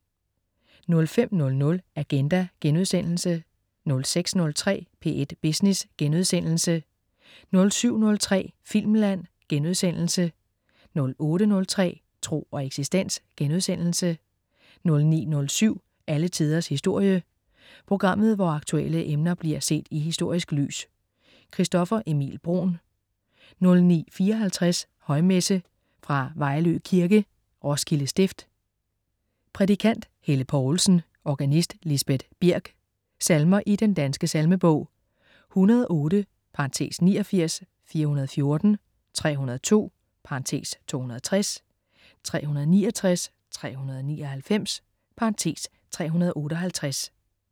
05.00 Agenda* 06.03 P1 Business* 07.03 Filmland* 08.03 Tro og eksistens* 09.07 Alle tiders historie. Programmet, hvor aktuelle emner bliver set i historisk lys. Christoffer Emil Bruun 09.54 Højmesse. Fra Vejlø Kirke (Roskilde Stift). Prædikant: Helle Poulsen. Organist: Lisbet Birk. Salmer i Den Danske Salmebog: 108 (89). 414. 302 (260). 369. 399 (358)